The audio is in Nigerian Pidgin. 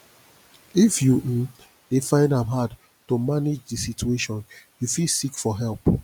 if you um dey find am hard to manage di situation you fit seek for help